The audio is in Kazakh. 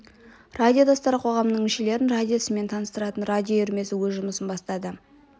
радио достары қоғамының мүшелерін радио ісімен таныстыратын радио үйірмесі өз жұмысын бастады